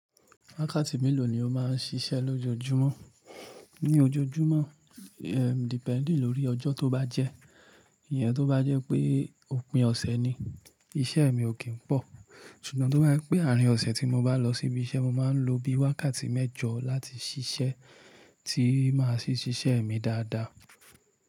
Wákàtí mélòó ni o máa ń ṣiṣẹ́ lójoojúmọ́? Ni ojoojúmọ́, eh depending lórí ọjọ́ tó bá jẹ́. Iyẹn tó bá jẹ́ pé òpin ọ̀sẹ̀ ni, iṣẹ́ mi ò kín pọ̀. Ṣùgbọ́n tó bá jẹ́ pé àárín ọ̀sẹ̀ tí mo bá lọ síbí iṣẹ́, mo máa ń lo bí i wákàtí mẹ́jọ láti ṣiṣẹ́ tí máa ṣí ṣiṣẹ́ mi dáadáa.